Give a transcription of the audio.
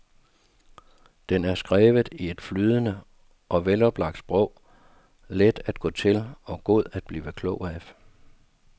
Den er skrevet i et flydende og veloplagt sprog, let at gå til og god at blive klog af.